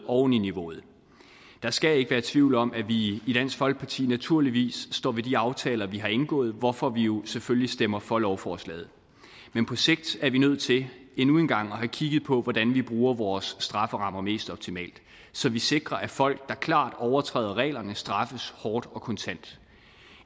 oven i niveauet der skal ikke være tvivl om at vi i i dansk folkeparti naturligvis står ved de aftaler vi har indgået hvorfor vi jo selvfølgelig stemmer for lovforslaget men på sigt er vi nødt til endnu en gang at have kigget på hvordan vi bruger vores strafferammer mest optimalt så vi sikrer at folk der klart overtræder reglerne straffes hårdt og kontant